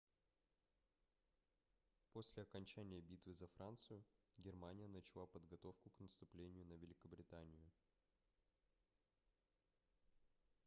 после окончания битвы за францию германия начала подготовку к наступлению на великобританию